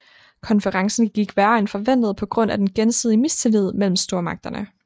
Konferencen gik værre end forventet på grund af den gensidige mistillid mellem stormagterne